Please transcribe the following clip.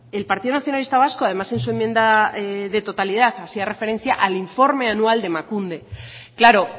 el partido nacionalista vasco además en su enmienda de totalidad hacía referencia al informe anual de emakunde claro